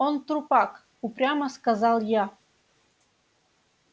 он трупак упрямо сказал я